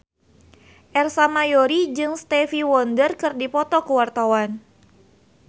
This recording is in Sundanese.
Ersa Mayori jeung Stevie Wonder keur dipoto ku wartawan